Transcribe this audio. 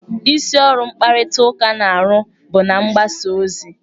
Isi ọrụ mkparịtaụka na-arụ bụ na-mgbasa ozi.